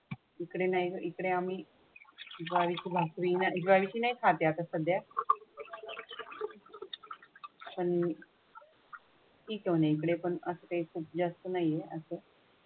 इकडे नाही इकडे आम्ही घ्यायची भाकरी घ्यायची नाहीसा खाथे आता सध्या. पण असते जास्त नाही असं.